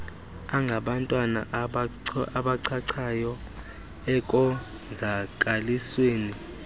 angabantwana abachachayo ekonzakalisweni